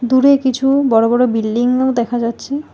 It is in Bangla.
দূরে কিছু বড়ো বড়ো বিল্ডিংও দেখা যাচ্ছে।